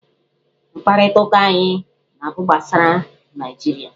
Mkparịta ụka anyị na-abụ gbasara Naịjirịa.